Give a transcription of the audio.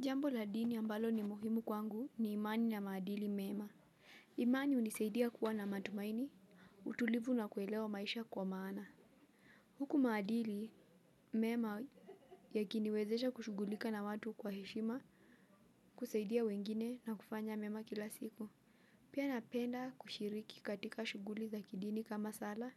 Jambo la dini ambalo ni muhimu kwangu ni imani na maadili mema. Imani hunisaidia kuwa na matumaini, utulivu na kuelewa maisha kwa maana. Huku maadili mema yakiniwezesha kushugulika na watu kwa heshima kusaidia wengine na kufanya mema kila siku. Pia napenda kushiriki katika shughuli za kidini kama sala,